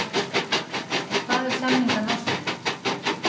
En hvað ef samningar nást ekki?